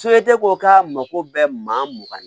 ko k'a mako bɛɛ maa mugan